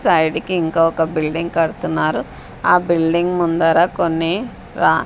side కి ఇంక ఒక బిల్డింగ్ కడుతున్నారు ఆ బిల్డింగ్ ముందర కొన్ని ఆ--